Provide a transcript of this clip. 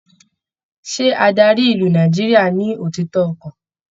Ṣé adarí ìlú Nàìjíríà ní òtítọ ọkan?